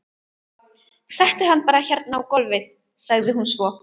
Settu hann bara hérna á gólfið, sagði hún svo.